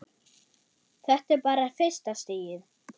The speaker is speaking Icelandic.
Þetta er bara fyrsta stigið.